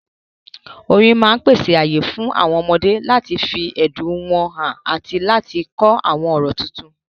Orin máa pèsè ààyè fún àwọn ọmọdé láti fi ẹ̀dùn wọn hàn àti láti kọ́ àwọn ọ̀rọ̀ tuntun.